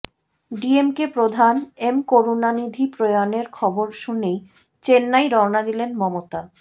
ডিএমকে প্রধান এম করুণানিধি প্রয়াণের খবর শুনেই চেন্নাই রওনা দিলেন মমতা